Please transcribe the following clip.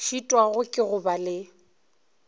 šitwago ke go ba le